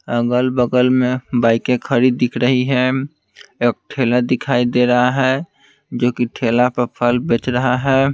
अगल-बगल में बाइकें खड़ी दिख रही है एक ठेला दिखाई दे रहा है जो कि ठेला पे फल बेच रहा है।